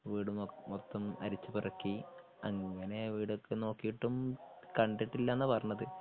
വീട് മൊത്തം അരിച്ചു പെറുക്കി അങ്ങനെ വീടൊക്കെ നോക്കീട്ടും കണ്ടിട്ടില്ലാന്നാണ് പറഞ്ഞത്.